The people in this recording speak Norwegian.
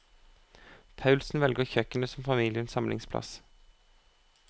Poulsson velger kjøkkenet som familiens samlingsplass.